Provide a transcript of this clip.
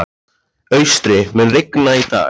Austri, mun rigna í dag?